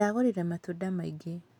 Ndĩragũrire matunda maingĩ.